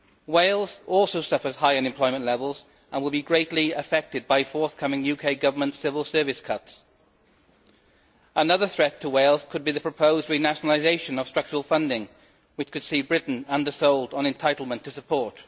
Wales also suffers high unemployment levels and will be greatly affected by forthcoming UK Government civil service cuts. Another threat to Wales could be the proposed renationalisation of structural funding, which could see Britain undersold on entitlement to support.